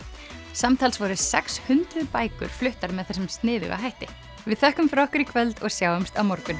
samtals voru sex hundruð bækur voru fluttar með þessum sniðuga hætti við þökkum fyrir okkur í kvöld og sjáumst á morgun